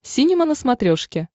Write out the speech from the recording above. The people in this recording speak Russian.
синема на смотрешке